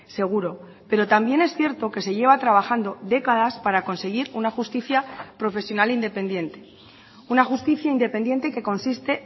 seguro pero también es cierto que se lleva trabajando décadas para conseguir una justicia profesional independiente una justicia independiente que consiste